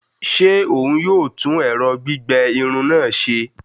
Ṣe òún yóò tún ẹrọ gbigbẹ Irun náà ṣe?